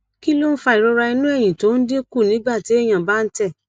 kí ló ń fa ìrora inu eyín tó ń dín kù nígbà téèyàn bá ń tẹ